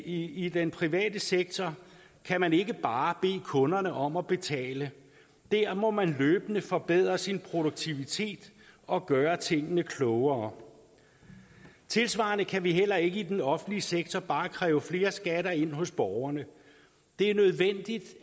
i den private sektor kan man ikke bare bede kunderne om at betale der må man løbende forbedre sin produktivitet og gøre tingene klogere tilsvarende kan vi heller ikke i den offentlige sektor bare kræve flere skatter ind hos borgerne det er nødvendigt